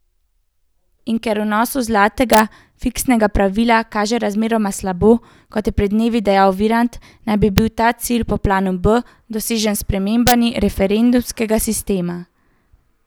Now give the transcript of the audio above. In ker vnosu zlatega fiskalnega pravila kaže razmeroma slabo, kot je pred dnevi dejal Virant, naj bi bil ta cilj po planu B dosežen s spremembami referendumskega sistema.